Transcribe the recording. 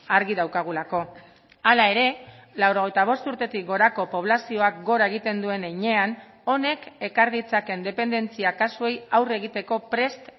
argi daukagulako hala ere laurogeita bost urtetik gorako poblazioak gora egiten duen heinean honek ekar ditzakeen dependentzia kasuei aurre egiteko prest